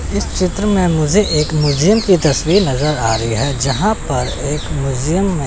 इस चित्र में मुझे एक म्यूजियम की तस्वीर नजर आ रही है जहां पर एक म्यूजियम --